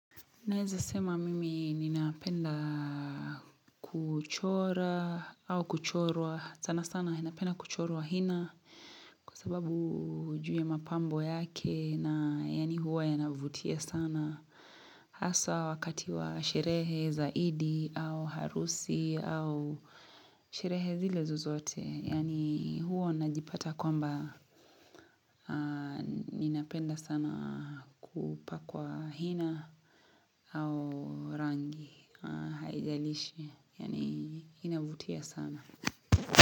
Naeza sema mimi ninapenda kuchora au kuchorwa sana sana napenda kuchorwa hina kwa sababu ju ya mapambo yake na yaani huwa yanavutia sana hasa wakati wa sherehe zaidi au harusi au sherehe zile zozote yaani huwa najipata kwamba ninapenda sana kupakwa hina au rangi. Haijalishi Yaani inavutia sana.